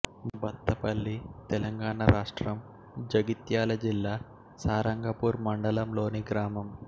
బత్తపల్లి తెలంగాణ రాష్ట్రం జగిత్యాల జిల్లా సారంగపూర్ మండలంలోని గ్రామం